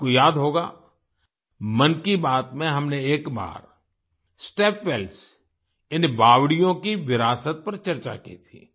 आपको याद होगा मन की बात में हमने एक बार स्टेप वेल्स यानि बावड़ियों की विरासत पर चर्चा की थी